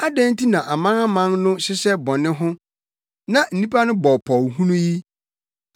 Adɛn nti na amanaman no hyehyɛ bɔne ho na nnipa no bɔ pɔw hunu yi?